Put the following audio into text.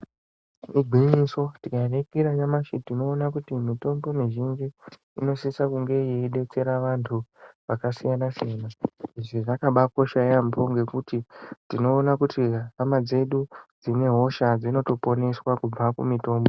Ingwinyiso, tikaningira nyanashi tinoona kutimitombo mizhinji inosisa kunge yeidetsera anthu akasiyanasiyana, izvi zvakabaakosha yaampho ngekuti tinoona kuti hama dzedu dzine hosha dzinotoponeswa kubva kumihtombo.